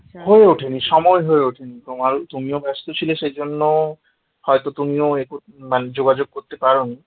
সময় হয়ে ওঠেনি তোমার তুমিও ব্যস্ত ছিলে সেজন্য হয়তো তুমিও এক মানে তুমিও যোগাযোগ করতে পারো নি